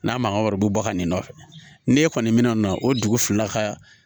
N'a mankan wɔrɔ bɔ ka n'i nɔfɛ n'e kɔni min na na o dugu fila ka